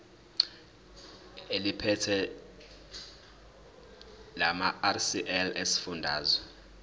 eliphethe lamarcl esifundazwe